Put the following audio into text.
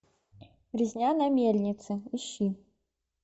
резня на мельнице ищи